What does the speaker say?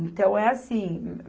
Então, é assim.